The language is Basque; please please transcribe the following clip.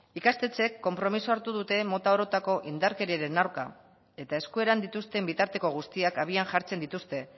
ikastetxeek konpromisoa hartu dute mota orotako indarkeriaren aurka eta eskueran dituzten bitarteko guztiak abian jartzen dituzte